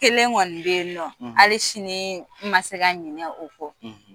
Kelen kɔni be yen nɔ, hali sini ma se ka ɲinɛ o kɔ .